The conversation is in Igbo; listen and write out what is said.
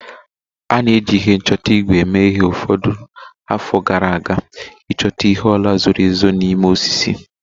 A na-eji ihe nchọta ígwè eme ihe mgbe ụfọdụ afọ gara aga ịchọta ihe ọla zoro ezo na ime osisi